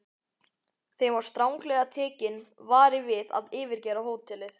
Þeim var stranglega tekinn vari við að yfirgefa hótelið.